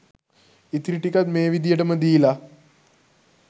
ඉතිරි ටිකත් මේ විදිහට ම දීල